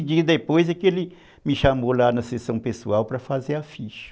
dias depois é que ele me chamou lá na sessão pessoal para fazer a ficha.